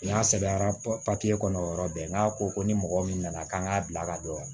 N'a sɛbɛra papiye kɔnɔ o yɔrɔ bɛɛ n'a ko ko ni mɔgɔ min nana k'an k'a bila ka don